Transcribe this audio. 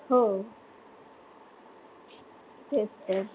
हो तेच तर